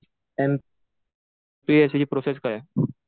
एमपीएससीची process काय आहे?